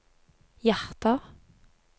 hjerter